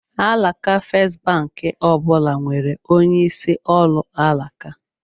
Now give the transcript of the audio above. Alaka Festbank ọ bụla nwere onye isi ọrụ alaka.